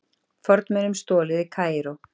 Fornmunum stolið í Kaíró